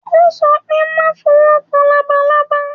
Ó sọ pé má fowó kan labalábá.